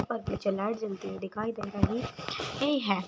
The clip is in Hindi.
और पीछे लाइट जलती हुई दिखाई दे रही ही है।